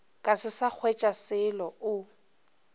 ka se sa hwetšaselo o